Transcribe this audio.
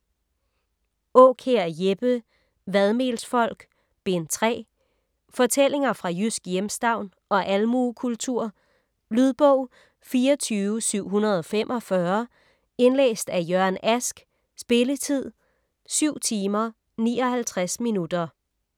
Aakjær, Jeppe: Vadmelsfolk: Bind 3 Fortællinger fra jysk hjemstavn og almuekultur. Lydbog 24745 Indlæst af Jørgen Ask Spilletid: 7 timer, 59 minutter.